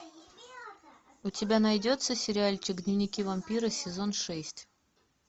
у тебя найдется сериальчик дневники вампира сезон шесть